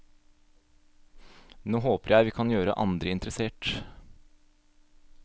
Nå håper jeg vi kan gjøre andre interessert.